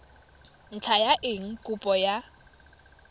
ntlha ya eng kopo ya